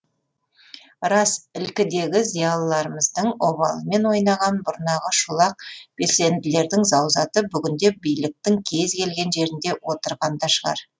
рас ілкідегі зиялыларымыздың обалымен ойнаған бұрнағы шолақ белсенділердің заузаты бүгінде биліктің кез келген жерінде отырған да шығар